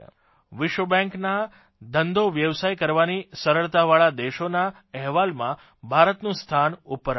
વિશ્વબેન્કના ધંધોવ્યવસાય કરવાની સરળતાવાળા દેશોના અહેવાલમાં ભારતનું સ્થાન ઉપર આવ્યું છે